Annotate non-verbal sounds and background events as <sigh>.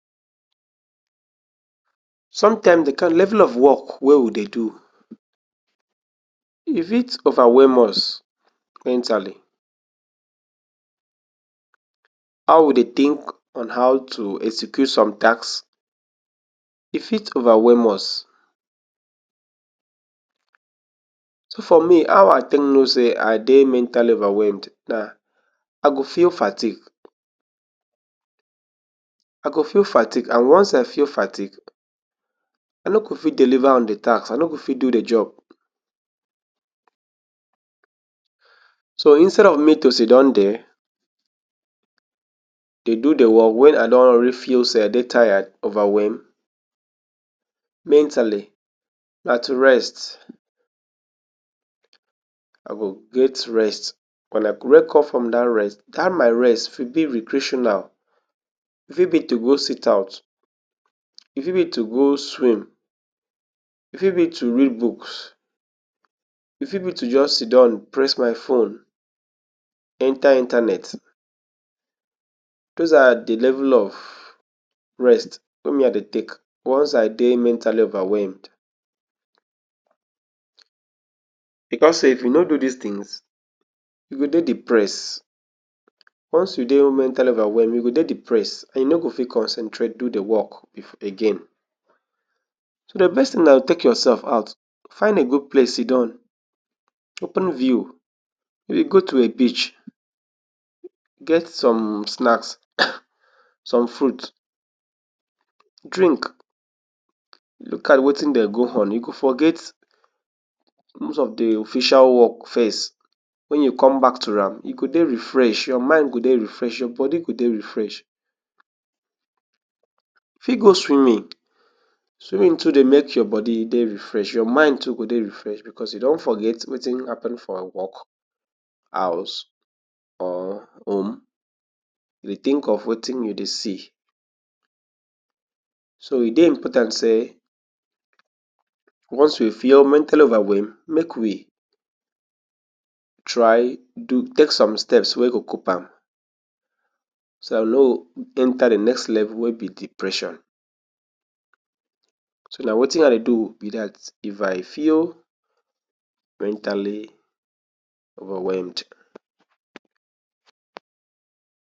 Somtime de kain level of wok wey we dey do, e fit overwhelm us mentally. How we dey tink on how to execute some task, e fit overwhelm us. So for me, how I take know say I dey mentally overwhelmed na I go feel fatik. I go feel fatik and once I feel fatik, I no go fit deliver on di task. I no go fit do di job. So instead of me to sidon dere dey do di wok wen I don already feel say I dey tire, overwhelm mentally, na tu rest I go get rest. Wen I wake up from dat rest, dat my rest, fi be recreational. E fit be to go sit out, e fit be to go swim, e fit be to read buks, e fit be to just sidon press my phone, enta internet. Doz are di level of rest wey me I dey take once I dey mentally overwhelmed. Bicos say if you no do dis tins, you go dey depressed. Once you dey mentally overwhelmed, you go dey depressed and you no go fit concentrate do di wok bif again. So di best tin na take yoursef out, find a gud place, sidon, open view you go to a beach, get som snacks <coughs> som fruit, drink, luk at wetin dey go on. E go forget most of di official wok first. Wen you come back to am, you go dey refresh. Your mind go dey refresh. Your body go dey refresh. Fi go swimming. Swimming too dey make your body dey refresh. Your mind too go dey refresh bicos e don forget wetin happun for wok house or home. You dey tink of wetin you dey see. So e dey important say once you feel mentally overwhelmed, make we try do take som steps wey go cope am so na we no enta di next level wey be depression. So na wetin I dey do be dat if I feel mentally overwhelmed.